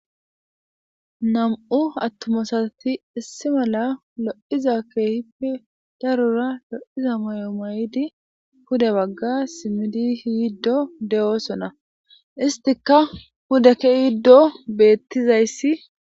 Namu'u atuma assati issi mala kehipe darroza lo'ida mayoza mayiddi pude bagge simidi yidde dossona isitika pude keyido betizayis